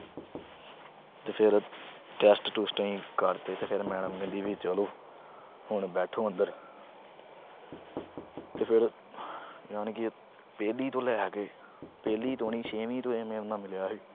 ਤੇ ਫਿਰ test ਟੁਸਟ ਅਸੀਂ ਕਰਤੇ ਤੇ ਫਿਰ madam ਕਹਿੰਦੀ ਵੀ ਚਲੋ। ਹੁਣ ਬੈਠੋ ਅੰਦਰ। ਤੇ ਫਿਰ ਯਾਨੀ ਕਿ ਪਹਿਲੀ ਤੋਂ ਲੈ ਕੇ ਪਹਿਲੀ ਤੋਂ ਨੀ, ਛੇਵੀਂ ਤੋਂ ਇਹ ਮੇਰੇ ਨਾਲ ਮਿਲਿਆ ਸੀ।